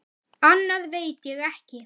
Annað veit ég ekki.